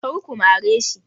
Kar ku mare shi!